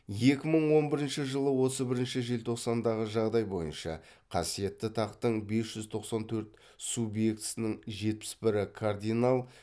екі мың он бірінші жылы отыз бірінші желтоқсандағы жағдай бойынша қасиетті тақтың бес жүз тоқсан төрт субъектісінің жетпіс бірі кардинал